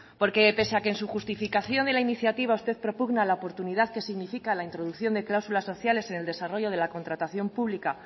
porque pese a que en su justificación de la iniciativa usted propugna la oportunidad que significa la introducción de cláusulas sociales en el desarrollo de la contratación pública